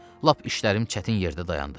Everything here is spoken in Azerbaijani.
Lap işlərim çətin yerdə dayandı.